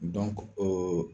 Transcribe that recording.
oo